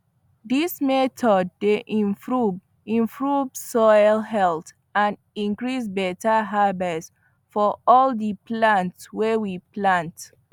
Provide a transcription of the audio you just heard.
this method dey improve improve soil health and increase better harverst for all the palnt wy we plant